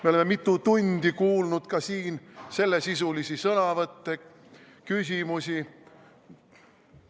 Me oleme mitu tundi kuulnud ka siin sellesisulisi sõnavõtte, küsimusi.